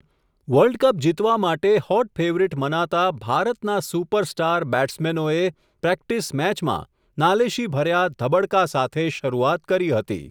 World cup જીતવા માટે hot favourite મનાતા ભારતના સુપરસ્ટાર બેટ્સમેનોએ પ્રેક્ટિસ મેચમાં નાલેશીભર્યા ધબડકા સાથે શરૂઆત કરી હતી. .